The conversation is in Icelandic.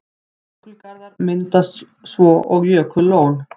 Jökulgarður myndast svo og jökullón.